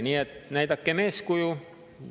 Nii et näidakem eeskuju.